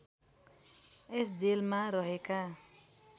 यस जेलमा रहेका